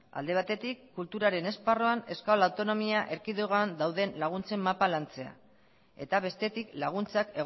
alde baterik kulturaren esparruan euskal autonomia erkidegoan dauden laguntzen mapa lantzea eta bestetik laguntzak